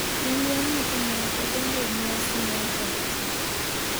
Jolweny makamago donjo e nyasi mar ot.